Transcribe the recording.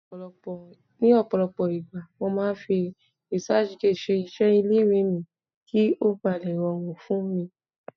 ní ọpọlọpọ igba, mo ma fi researchgate ṣe iṣẹ ile iwe mi ki o ba le rọrùn fún mi